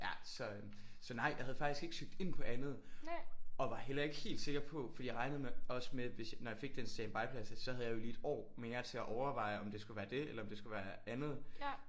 Ja så øh så nej jeg havde faktisk ikke søgt ind på andet og var heller ikke helt sikker på for jeg regnede med også med at når jeg fik den standby-plads så havde jeg jo lige et år mere til at overveje om det skulle være det eller om det skulle være andet